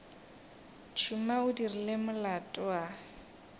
tšhuma o dirile molato a